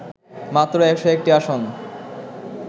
মাত্র ১০১টি আসন